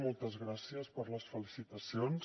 moltes gràcies per les felicitacions